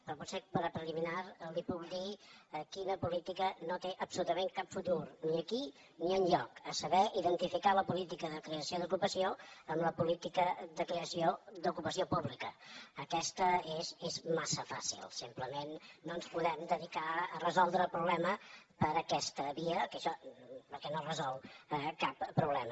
però potser com a preliminar li puc dir quina política no té absolutament cap futur ni aquí ni enlloc a saber identificar la política de creació d’ocupació amb la política de creació d’ocupació pública aquesta és massa fàcil simplement no ens podem dedicar a resoldre el problema per aquesta via perquè no resol cap problema